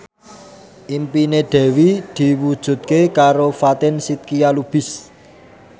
impine Dewi diwujudke karo Fatin Shidqia Lubis